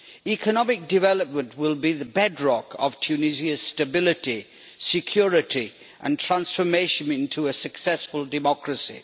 Economic development will be the bedrock of Tunisia's stability, security and transformation into a successful democracy.